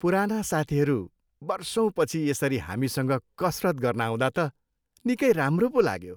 पुराना साथीहरू वर्षौँपछि यसरी हामीसँग कसरत गर्न आउँदा त निकै राम्रो पो लाग्यो।